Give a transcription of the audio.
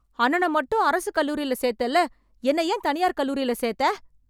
அண்ணன மட்டும் அரசுக் கல்லூரில சேத்தேல்ல, என்னை ஏன் தனியார் கல்லூரில சேத்த?